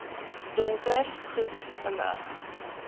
donker goed belig